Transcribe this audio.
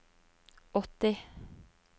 åtti